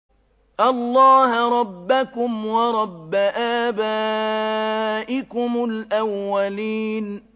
اللَّهَ رَبَّكُمْ وَرَبَّ آبَائِكُمُ الْأَوَّلِينَ